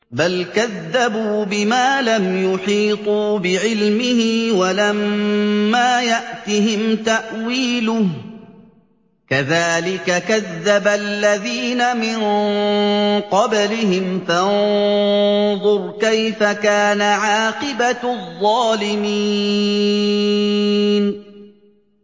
بَلْ كَذَّبُوا بِمَا لَمْ يُحِيطُوا بِعِلْمِهِ وَلَمَّا يَأْتِهِمْ تَأْوِيلُهُ ۚ كَذَٰلِكَ كَذَّبَ الَّذِينَ مِن قَبْلِهِمْ ۖ فَانظُرْ كَيْفَ كَانَ عَاقِبَةُ الظَّالِمِينَ